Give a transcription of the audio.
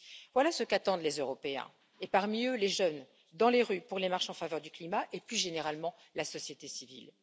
Voilà ce qu'attendent les Européens, dont les jeunes dans les rues pour les marches en faveur du climat et, plus généralement, la société civile.